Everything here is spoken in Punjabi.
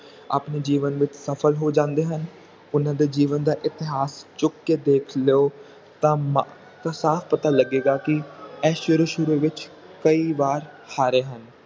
ਆਪਣੇ ਜੀਵਨ ਵਿਚ ਸਫਲ ਹੋ ਜਾਂਦੇ ਹਨ ਓਹਨਾ ਦੇ ਜੀਵਨ ਦਾ ਇਤਿਹਾਸ ਚੁੱਕ ਕੇ ਦੇਖ ਲਓ ਤਾ ਸਾਫ ਪਤਾ ਲੱਗੇਗਾ ਕੀ ਇਹ ਸ਼ੁਰੂ ਸ਼ੁਰੂ ਵਿਚ ਕਈ ਵਾਰ ਹਾਰੇ ਹਨ